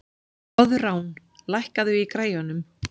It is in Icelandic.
Koðrán, lækkaðu í græjunum.